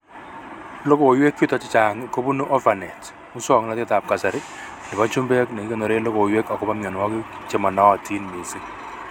Logoiwek chutok chehang' kobunu Orphanet, muswoknotetab kasari nebo chumbek nekikonoree logoiwek akobo mionwogik chemonootin mising